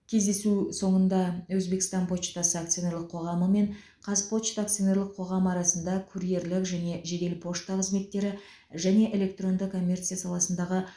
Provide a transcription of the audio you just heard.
кездесу соңында өзбекстан почтасы акционерлік қоғамы мен казпочта акционерлік қоғамы арасында курьерлік және жедел пошта қызметтері және электронды коммерция саласындағы